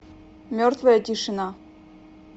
мертвая тишина